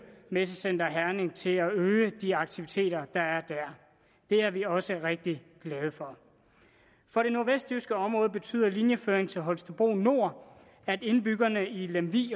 messecenter herning til at øge de aktiviteter der er der det er vi også rigtig glade for for det nordvestjyske område betyder linjeføringen til holstebro nord at indbyggerne i lemvig